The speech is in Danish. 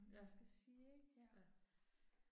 Ja. Ja